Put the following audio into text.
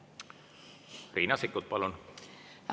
Riina Sikkut, palun!